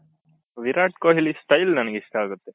Virat Kohli style ನನಗೆ ಇಷ್ಟ ಆಗುತ್ತೆ